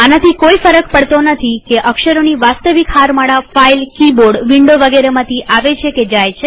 આનાથી કોઈ ફર્ક નથી પડતો કે અક્ષરોની વાસ્તવિક હારમાળાઓ ફાઈલકિબોર્ડવિન્ડો વગેરેમાંથી આવે છે કે જાય છે